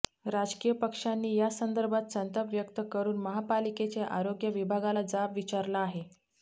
राजकीय पक्षांनी यासंदर्भात संताप व्यक्त करून महापालिकेच्या आरोग्य विभागाला जाब विचारला आहे